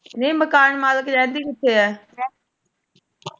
ਨਹੀਂ ਮਕਾਨ ਮਾਲਕ ਰਹਿੰਦੀ ਕਿੱਥੇ ਹੈ?